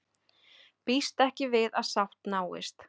Býst ekki við að sátt náist